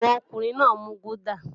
Àwọn ọkùnrin náà ń mu gúdà